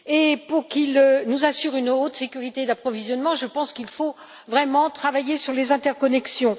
Afin qu'il nous assure une haute sécurité d'approvisionnement, je pense qu'il faut vraiment travailler sur les interconnexions.